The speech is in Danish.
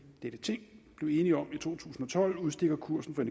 dette ting blev enige om i to tusind og tolv udstikker kursen for